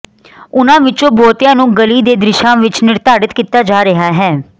ਉਨ੍ਹਾਂ ਵਿਚੋਂ ਬਹੁਤਿਆਂ ਨੂੰ ਗਲੀ ਦੇ ਦ੍ਰਿਸ਼ਾਂ ਵਿਚ ਨਿਰਧਾਰਤ ਕੀਤਾ ਜਾ ਰਿਹਾ ਹੈ